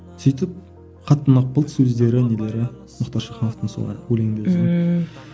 сөйтіп қатты ұнап қалды сөздері нелері мұхтар шахановтың сол өлеңдері сол ммм